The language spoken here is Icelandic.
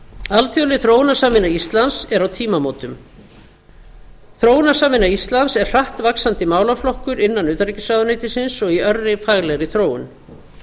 alþjóðleg þróunarsamvinna íslands er á tímamótum þróunarsamvinna íslands er hratt vaxandi málaflokkur innan utanríkisráðuneytisins og í örri faglegri þróun